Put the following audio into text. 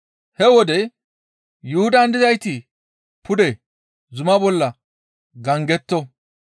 He wode Yuhudan dizayti pude zuma bolla gangetto.